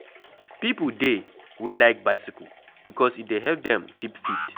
Pipo dey wey like bicycle because e dey help them keep fit